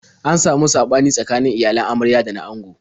An samu saɓani tsakanin iyalan amarya da na ango.